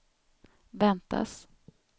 väntas